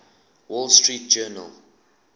wall street journal